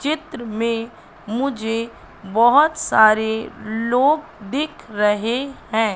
चित्र में मुझे बहोत सारे लोग दिख रहे हैं।